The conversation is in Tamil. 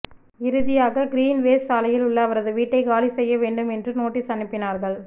இறுதியாக கீரின்வேஸ் சாலையில் உள்ள அவரது வீட்டை காலி செய்ய வேண்டும் என்றும் நோட்டீஸ் அனுப்பினார்கள்